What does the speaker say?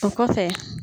O kɔfɛ